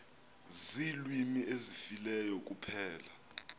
ziilwimi ezifileyo kuphela